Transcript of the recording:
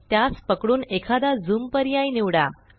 त्यास पकडून एखादा ज़ूम पर्याय निवडा